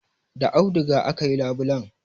Da auduga aka yi labulen.